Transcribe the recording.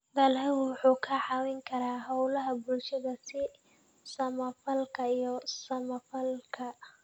Dalaggu wuxuu ka caawin karaa hawlaha bulshada sida samafalka iyo samafalka.